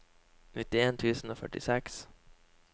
nittien tusen og førtiseks